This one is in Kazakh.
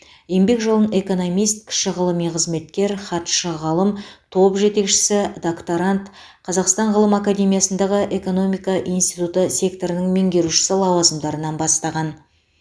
еңбек жолын экономист кіші ғылыми қызметкер хатшы ғалым топ жетекшісі докторант қазақстан ғылым академиясындағы экономика институты секторының меңгерушісі лауазымдарынан бастаған